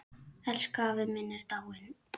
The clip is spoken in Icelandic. Elsku afi minn er dáinn.